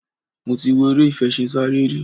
Mo ti wọ eré ìfeṣinsárẹ́ rí.